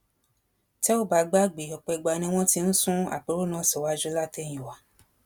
Tẹ́ẹ̀ ò bá gbàgbé ọ̀pọ̀ ìgbà ni wọ́n ti ń sún àpérò náà síwájú látẹyìnwá